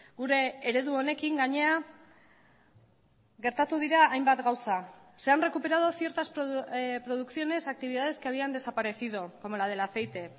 gure eredu honekin gainera gertatu dira hainbat gauza se han recuperado ciertas producciones actividades que habían desaparecido como la del aceite